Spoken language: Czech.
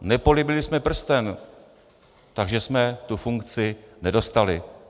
Nepolíbili jsme prsten, takže jsme tu funkci nedostali.